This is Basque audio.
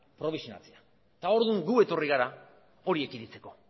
probisionatzea eta orduan gu etorri gara hori ekiditeko